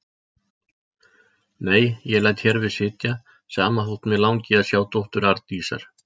Nei, ég læt hér við sitja, sama þótt mig langi að sjá dóttur Arndísar.